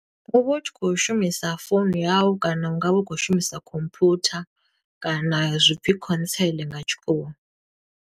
U vha u tshi khou shumisa founu yau, kana u nga vha u khou shumisa khomphwutha, kana zwi pfi console nga tshikhuwa.